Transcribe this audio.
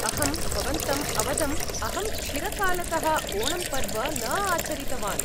अहं भवन्तम् अवदम्, अहं चिरकालतः ओणम् पर्व न आचरितवान्।